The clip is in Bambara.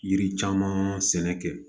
Yiri caman sɛnɛ kɛ